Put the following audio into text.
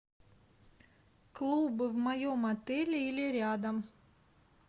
клубы в моем отеле или рядом